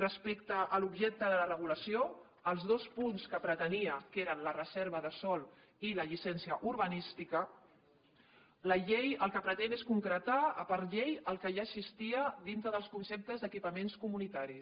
respecte a l’objecte de la regulació els dos punts que pretenia que eren la reserva de sòl i la llicència urbanística la llei el que pretén és concretar per llei el que ja existia dintre dels conceptes d’equipaments comunitaris